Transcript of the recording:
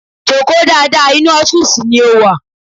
Joko dáadáa, inú ọ́fìsì ni o wà!